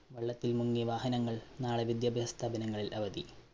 വെള്ളത്തില്‍ മുങ്ങി വാഹനങ്ങള്‍ നാളെ വിദ്യാഭ്യാസ സ്ഥാപനങ്ങളില്‍ അവധി.